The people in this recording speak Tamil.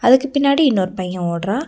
அதுக்கு பின்னாடி இன்னொரு பையன் ஓட்றான்.